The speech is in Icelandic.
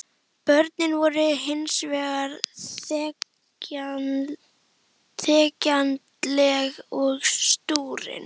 Börnin voru hins vegar þegjandaleg og stúrin.